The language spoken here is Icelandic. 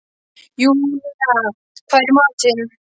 Júnía, hvað er í matinn?